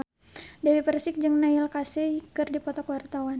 Dewi Persik jeung Neil Casey keur dipoto ku wartawan